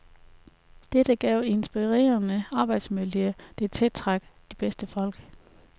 Dette gav et inspirerende arbejdsmiljø, der tiltrak de bedste folk.